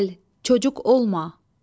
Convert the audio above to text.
Gəl, çocuq olma.